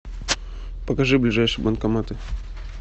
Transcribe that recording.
покажи ближайшие банкоматы